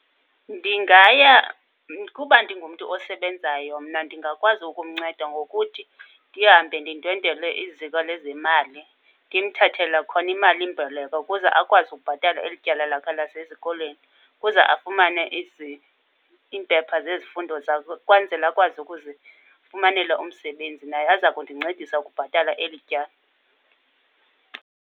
Ndingaya, kuba ndingumntu osebenzayo mna ndingakwazi ukumnceda ngokuthi ndihambe ndindwendelwe iziko lezemali ndimthathele khona imalimboleko ukuze akwazi ukubhatala elityala lakhe lasesikolweni kuza afumane iimpepha zezifundo zazo. Ukwenzela akwazi ukuzifumanela umsebenzi naye aza kundincedisa ukubhatala eli tyala.